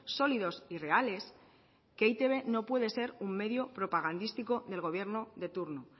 sólidos y reales que e i te be no puede ser un medio propagandístico del gobierno de turno